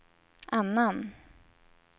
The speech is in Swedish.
annan